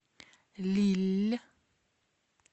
лилль